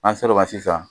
N'an sera o ma sisan